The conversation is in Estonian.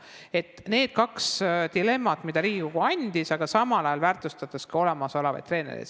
Need olid kaks dilemmat, mida Riigikogu ette andis, aga samal ajal tuleb väärtustada ka olemasolevaid treenereid.